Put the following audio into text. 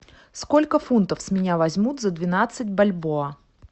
сколько фунтов с меня возьмут за двенадцать бальбоа